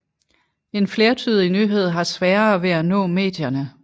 En flertydig nyhed har sværere ved at nå medierne